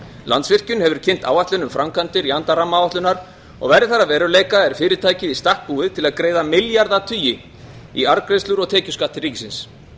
landsvirkjun hefur kynnt áætlun um framkvæmdir í anda rammaáætlunar og verði þær að veruleika er fyrirtækið í stakk búið til að greiða milljarðatugi í arðgreiðslur og tekjuskatt til ríkisins